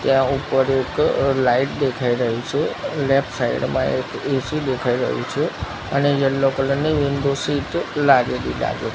ત્યાં ઉપર એક લાઈટ દેખાય રહી છે અને લેફ્ટ સાઈડ માં એક એ_સી દેખાય રહ્યું છે અને યલો કલર ની વિન્ડો શીટ લાગેલી લાગે--